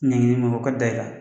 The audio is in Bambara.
Ɲangili min bɛ o ka da i kan